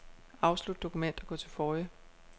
Afslut dokument og gå til forrige.